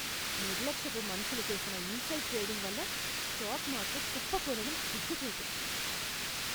నిర్లక్ష్యపు మనుషులు చేసిన ఇన్సైడ్ ట్రేడింగ్ వల్ల స్టాక్ మార్కెట్ కుప్పకూలడం సిగ్గుచేటు.